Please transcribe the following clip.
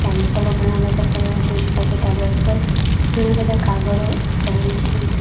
પેમ્પલો ઘણા બધા પડેલા જોઈ શકાય છે ટેબલ ઉપર ઘણા બધા કાગળો એક પેન છે.